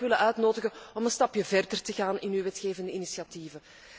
Dus ik zou u toch willen uitnodigen om een stapje verder te gaan in uw wetgevende initiatieven.